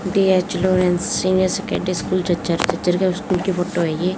DH Lawrence senior secondary school school की photo है ये।